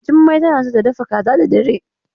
Jummai tana so ta dafa kaza da dare.